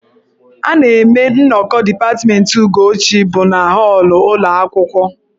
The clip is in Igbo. A na-eme nnọkọ dipatmentị Ugochi bụ na họọlụ ụlọ akwụkwọ..